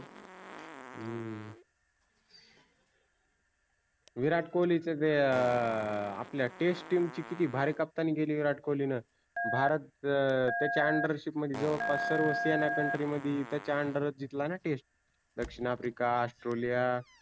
विराट कोल्हीच जे अं आपल्या test team ची किती भारी कप्तानी केली विराट कोल्हीनं. भारत त्याच्या under ship मधी जवळ पास सर्व सेना country मधी त्याच्या under च जिंतला ना test दक्षिन अफ्रिका, औष्ट्रेलीया.